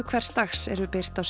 hvers dags eru birt á